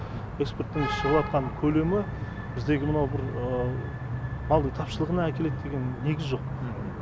экспорттың шығыватқан көлемі біздегі мынау бір малдың тапшылығына әкелет деген негіз жоқ